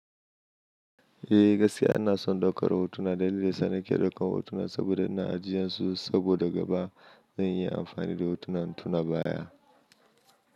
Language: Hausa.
Eh, gaskiya ina son daukar hotuna dalilin sanake dau kan hotuna saboda na ajiyansu saboda gaba zan yi amfani da hotunan intuna baya.